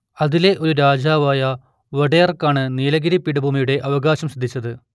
അതിലെ ഒരു രാജാവായ വോഡെയാർക്കാണ് നീലഗിരി പീഠഭൂമിയുടെ അവകാശം സിദ്ധിച്ചത്